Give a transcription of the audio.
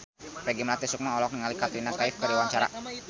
Peggy Melati Sukma olohok ningali Katrina Kaif keur diwawancara